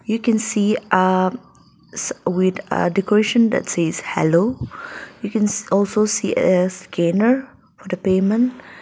You can see a ss with a decoration that says hello you can also see a scanner for the payment.